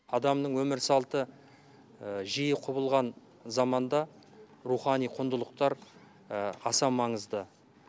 адамның өмір салты жиі құбылған заманда рухани құндылықтар аса маңызды